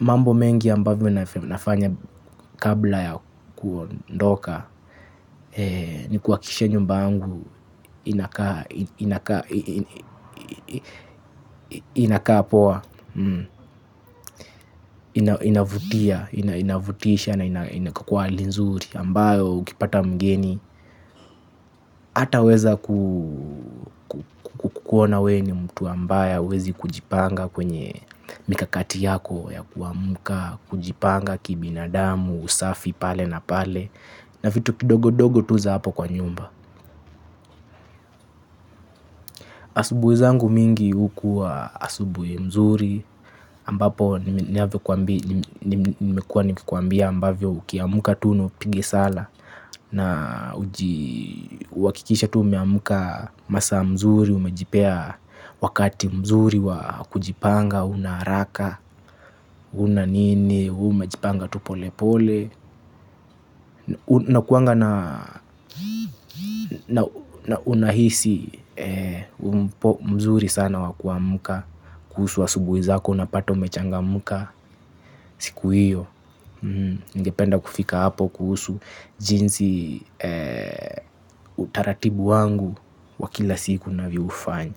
Mambo mengi ambavyo nafanya kabla ya kuondoka ni kuhakikisha nyumba yangu Inakaa Inakaa poa, inavutia inavutisha na iko kwa hali nzuri ambayo ukipata mgeni ataweza kukuona wewe ni mtu ambaye hawezi kujipanga kwenye mikakati yako yakuamka, kujipanga kibinadamu, usafi pale na pale. Na vitu vidogo vidogo tu za hapo kwa nyumba. Asubuhi zangu mingi hukuwa asubuhi nzuri ambapo nimekuwa nikikwambia ambavyo ukiamka tu na upige sala na uhakikishe tu umeamka masaa mzuri, umejipea wakati mzuri wa kujipanga hauna haraka, huna nini, wewe umejipanga tu pole pole. Unakuanga na na unahisi mzuri sana wakuamka. Kuhusu asubuhi zako unapata umechangamka siku hio. Ningependa kufika hapo kuhusu jinsi utaratibu wangu wa kila siku ninavyoufanya.